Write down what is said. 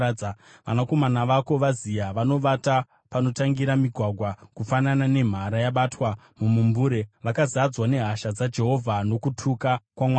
Vanakomana vako vaziya; vanovata panotangira migwagwa, kufanana nemhara yabatwa mumumbure. Vakazadzwa nehasha dzaJehovha nokutuka kwaMwari wako.